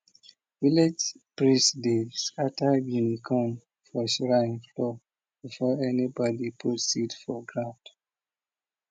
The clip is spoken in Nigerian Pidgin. village priest dey scatter guinea corn for shrine floor before anybody put seed for ground